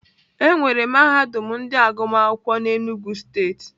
Enwere mahadum nke agụmakwụkwọ n'Enugwu steeti.